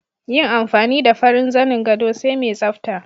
Yin amfani da farin zanin gado sai mai tsafta